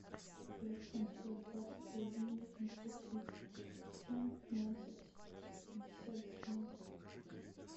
пять семьсот двадцать один восемьсот тридцать семь пятнадцать пятьдесят семь